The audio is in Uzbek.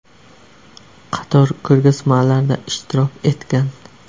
Qator ko‘rgazmalarda ishtirok etgan.